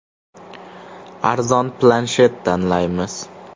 Arzon planshet tanlaymiz.